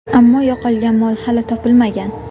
Ammo yo‘qolgan mol hali topilmagan.